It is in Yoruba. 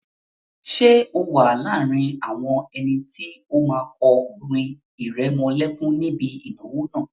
Ṣé o wà láàrin àwọn ẹni tó máa kọ orin ìrẹmọlẹ́kún níbi ìnáwó náà?